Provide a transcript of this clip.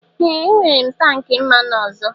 Ee! Enwere m tank mmanụ ọzọ.